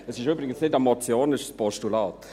Es ist übrigens keine Motion, sondern ein Postulat.